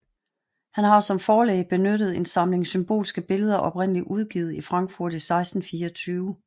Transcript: Han har som forlæg benyttet en samling symbolske billeder oprindelig udgivet i Frankfurt i 1624